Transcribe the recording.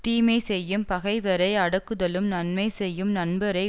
தீமை செய்யும் பகைவரை அடக்குதலும் நன்மை செய்யும் நண்பரை